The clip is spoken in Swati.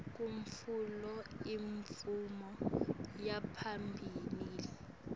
kutfola imvume yaphambilini